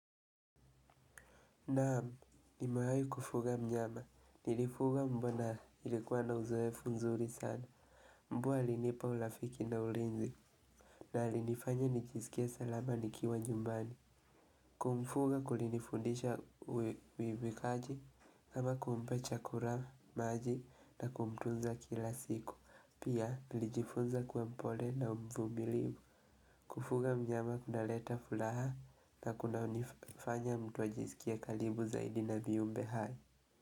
Naam nimewahi kufuga mnyama. Nilifuga mbwa na ilikuwa na uzoefu nzuri sana. Mbwa alinipa urafiki na ulinzi. Na alinifanya nijisikie salama nikiwa nyumbani. Kumfuga kulinifundisha uajibikaji kama kumpa chakula maji na kumtunza kila siku. Pia nilijifunza kuwa mpole na mvumilivu. Kufuga mnyama kunaleta furaha na kunanifanya mtu ajisikie karibu zaidi na viumbe hai.